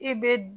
I bɛ